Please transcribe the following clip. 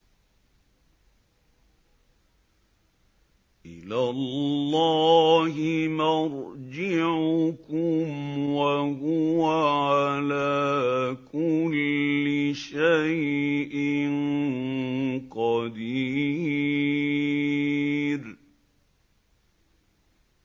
إِلَى اللَّهِ مَرْجِعُكُمْ ۖ وَهُوَ عَلَىٰ كُلِّ شَيْءٍ قَدِيرٌ